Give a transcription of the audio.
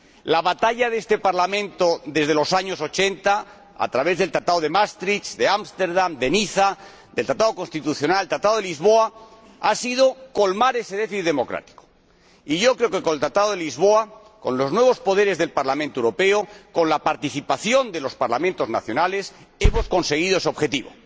La batalla de este Parlamento desde los años 80, a través del Tratado de Maastricht, de Ámsterdam, de Niza, del Tratado Constitucional, del Tratado de Lisboa, ha sido colmar ese déficit democrático, y yo creo que con el Tratado de Lisboa, con los nuevos poderes del Parlamento Europeo, con la participación de los Parlamentos nacionales, hemos conseguido ese objetivo.